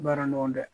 Baara nɔgɔ dɛ